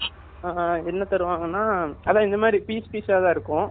ச் அ அ என்ன தருவங்கனா அதான் இது மாதிரி piece piece அ தான் இருக்கும்